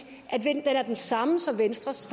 at den er den samme som venstres